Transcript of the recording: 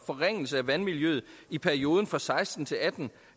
forringelse af vandmiljøet i perioden fra seksten til atten